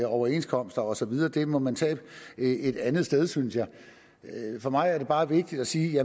overenskomster og så videre det må man tage et andet sted synes jeg for mig er det bare vigtigt at sige